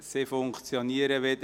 Es funktioniert wieder!